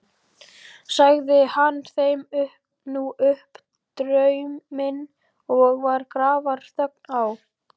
Sagði hann þeim nú upp drauminn og var grafarþögn á.